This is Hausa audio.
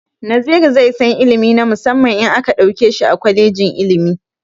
Naziru zai san ilimi na musamman in aka ɗauke shi a kwalejin ilimi.